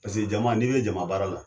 Paseke jama n'i be jama baara la